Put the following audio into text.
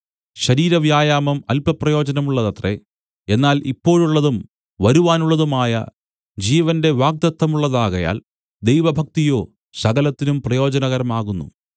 ശരീരവ്യായാമം അല്പം പ്രയോജനമുള്ളതത്രേ എന്നാൽ ഇപ്പോഴുള്ളതും വരുവാനുള്ളതുമായ ജീവന്റെ വാഗ്ദത്തമുള്ളതാകയാൽ ദൈവഭക്തിയോ സകലത്തിനും പ്രയോജനകരമാകുന്നു